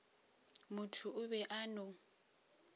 motho o be a no